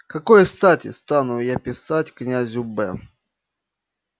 к какой стати стану я писать к князю б